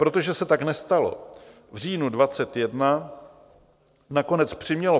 Protože se tak nestalo, v říjnu 2021 nakonec přimělo (?)